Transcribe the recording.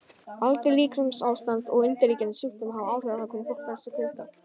Aldur, líkamsástand og undirliggjandi sjúkdómar hafa áhrif á það hvernig fólk bregst við kulda.